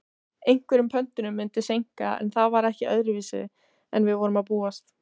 Einhverjum pöntunum myndi seinka en það var ekki öðruvísi en við var að búast.